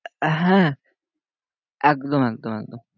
আহ হ্যাঁ একদম একদম একদম